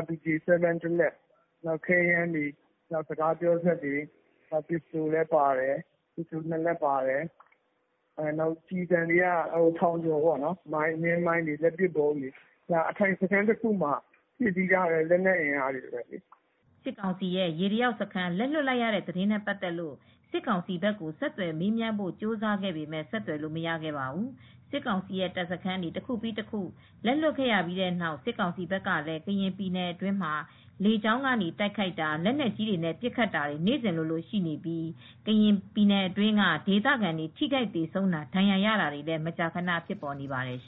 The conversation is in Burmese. RPG တလက် လက်နက်ခဲယမ်းတွေ စကားပြောစက်တွေ နင်းမိုင်းတွေလက်ပစ်ဗုံးတွေ ကျည်ဆံတွေက ထောင်ကျော်ပါတယ်။ အခြေချထားတဲ့ အထိုင်စခန်းတခုမှာ ရှိတဲ့လက်နက်အင်အားတွေပဲလေ" စစ်ကောင်စီဘက်က ရေတလျောက်စခန်းလက်လွှတ်လိုက်ရတာနဲ့ပါတ်သက်လို့ စစ်ကောင်စီကိုဆက်သွယ်မေးမြန်းဖို့ကြိုးစားခဲ့ပေမဲ့ ဆက်သွယ်လို့မရခဲ့ပါဘူး။ စစ်ကောင်စီတပ်စခန်းတွေ တခုပြီးတခုလက်လွှတ်ရပြီးတဲ့နောက် စစ်ကောင်စီဘက်ကလည်း ကရင်ပြည်နယ်အတွင်းမှာ လေကြောင်းကနေ တိုက်ခိုက်တာ လက်နက်ကြီးတွေနဲ့ပစ်ခတ်တာတွေနေ့စဉ်လိုလို ရှိနေပြီး ကရင်ပြည်နယ်အတွင်းက ဒေသခံတွေထိခိုက် သေဆုံးတာ ဒဏ်ရာရတာတွေလည်း မကြာခဏ ဖြစ်နေပါတယ်။